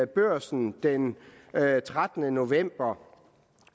børsen den trettende november